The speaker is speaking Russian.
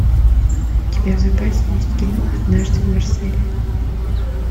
у тебя в запасе есть кино однажды в марселе